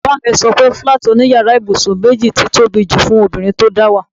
Bàbá mi so pe fúláàtì òní yàrá ibùsùn méjì ti tóbi jù fún obìnrin tó dáwà.